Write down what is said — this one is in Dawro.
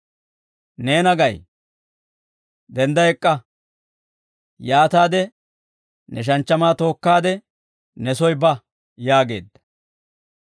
«Neena gay; dendda ek'k'a; yaataade ne shanchchamaa tookkaade ne soy ba» yaageedda.